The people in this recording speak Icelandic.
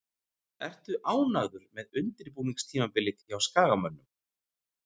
Ertu ánægður með undirbúningstímabilið hjá Skagamönnum?